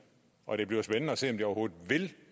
og det bliver spændende at se om de overhovedet vil